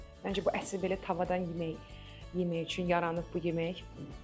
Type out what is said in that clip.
Məncə bu əsl belə tavadan yemək yemək üçün yaranıb bu yemək.